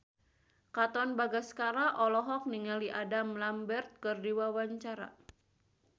Katon Bagaskara olohok ningali Adam Lambert keur diwawancara